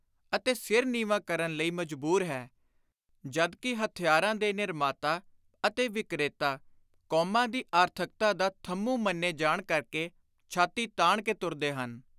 ਅਤੇ ਸਿਰ ਨੀਵਾਂ ਕਰਨ ਲਈ ਮਜਬੂਰ ਹੈ, ਜਦ ਕਿ ਹਥਿਆਰਾਂ ਦੇ ਨਿਰਮਾਤਾ ਅਤੇ ਵਿਕਰੇਤਾ ਕੌਮਾਂ ਦੀ ਆਰਥਕਤਾ ਦਾ ਥੰਮੂ ਮੰਨੇ ਜਾਣ ਕਰਕੇ ਛਾਤੀ ਤਾਣ ਕੇ ਤੁਰਦੇ ਹਨ।